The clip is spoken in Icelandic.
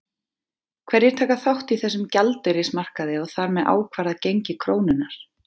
Hverjir taka þátt í þessum gjaldeyrismarkaði og þar með ákvarða gengi krónunnar?